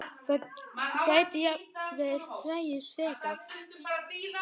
Það gæti jafnvel dregist frekar.